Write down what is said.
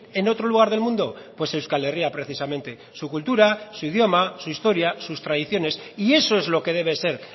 en otro lugar del mundo pues euskal herria precisamente su cultura su idioma su historia sus tradiciones y eso es lo que debe ser